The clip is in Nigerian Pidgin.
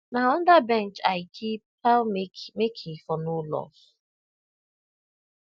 na under bench i keep how make make e for no loss